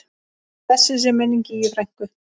Blessuð sé minning Gígju frænku.